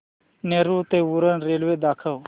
नेरूळ ते उरण रेल्वे दाखव